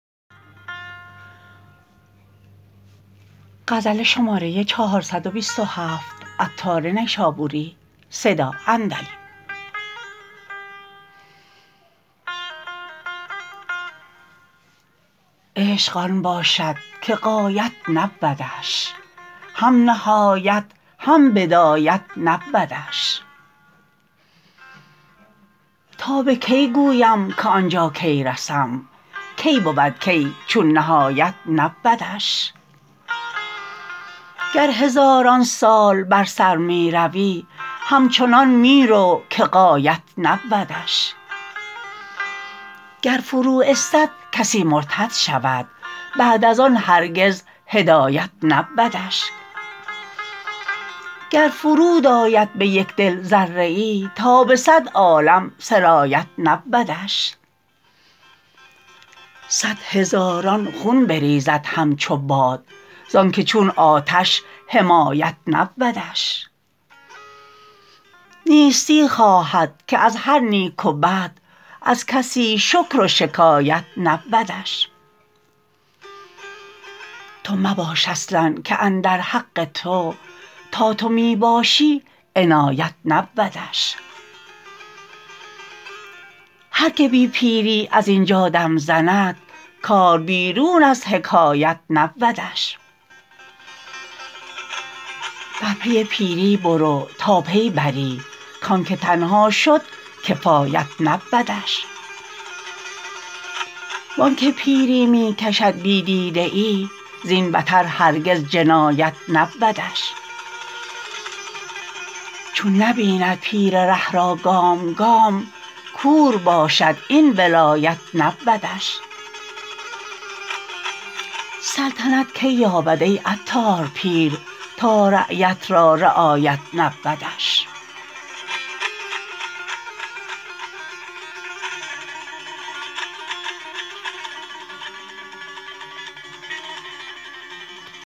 عشق آن باشد که غایت نبودش هم نهایت هم بدایت نبودش تا به کی گویم که آنجا کی رسم کی بود کی چون نهایت نبودش گر هزاران سال بر سر می روی همچنان می رو که غایت نبودش گر فرو استد کسی مرتد شود بعد از آن هرگز هدایت نبودش گر فرود آید به یک دل ذره ای تا به صد عالم سرایت نبودش صد هزاران خون بریزد همچو باد زانکه چون آتش حمایت نبودش نیستی خواهد که از هر نیک و بد از کسی شکر و شکایت نبودش تو مباش اصلا که اندر حق تو تا تو می باشی عنایت نبودش هر که بی پیری ازینجا دم زند کار بیرون از حکایت نبودش بر پی پیری برو تا پی بری کانکه تنها شد کفایت نبودش وانکه پیری می کشد بی دیده ای زین بتر هرگز جنایت نبودش چون نبیند پیر ره را گام گام کور باشد این ولایت نبودش سلطنت کی یابد ای عطار پیر تا رعیت را رعایت نبودش